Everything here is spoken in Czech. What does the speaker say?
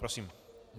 Prosím.